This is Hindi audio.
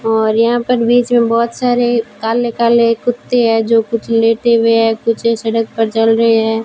और यहां पर बीच में बहुत सारे काले काले कुत्ते हैं जो कुछ लेटे हुए हैं कुछ सड़क पर चल रहे हैं।